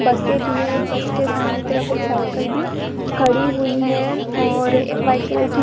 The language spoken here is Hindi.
बसे बी है बस के सामने एक तरफ एक साईकल बी खड़ी हुई हैं और एक वाइट कलर की --